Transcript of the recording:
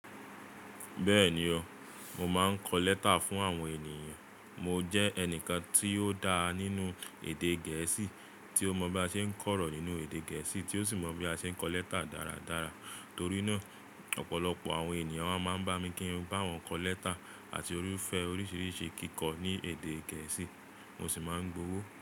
Bẹ́ẹ̀ni o, mo máa ń kọ lẹ́tà fún àwọn ènìyàn. Mo jẹ́ ẹnìkan tí ó dá nínú èdè gẹ̀ẹ́sì, tí ó mọ bí a ṣe ń kọ̀rọ̀ nínú èdè gẹ̀ẹ́sì, tí ó sì mọ bí a ṣe ń kọ lẹ́tà dáradára. Torí náà ọ̀pọ̀lọpọ̀ àwọn ènìyàn wá máa ń bá mi kí n bá wọn kọ letter àti irúfẹ́ oríṣiríṣi kíkọ ní èdè gẹ̀ẹ́sì, mo sì máa ń gba owó.